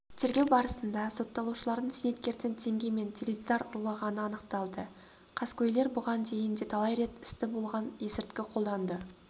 тергеу барысында сотталушылардың зейнеткерден теңге мен теледидар ұрлағаны анықталды қаскөйлер бұған дейін де талай рет істі болған есірткі қолданады